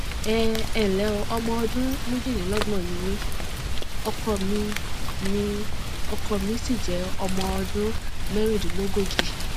ẹ ǹlẹ ọmọ ọdún méjìlélọgbọn ni mí ọkọ mi mí ọkọ mi sì jẹ ọmọ ọdún mẹrìndínlógójì